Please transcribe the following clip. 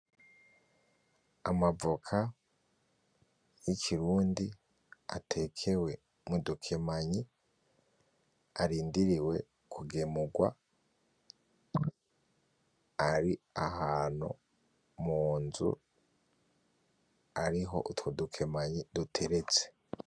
Amavoka y'ikirundi atekewe mudukemanyi arindiriwe kugemugwa ari ahantu munzu ariho utwo dukemanyi duteretse.